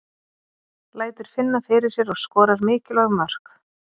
Lætur finna fyrir sér og skorar mikilvæg mörk.